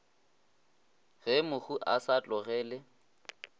ge mohu a sa tlogele